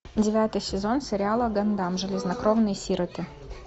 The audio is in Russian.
девятый сезон сериала гандам железнокровные сироты